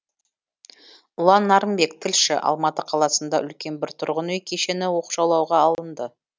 ұлан нарынбек тілші алматы қаласында үлкен бір тұрғын үй кешені оқшаулауға алынды